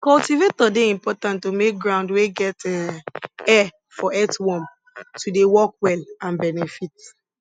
cultivator dey important to make ground wey get um air for earthworm to dey work well and benefit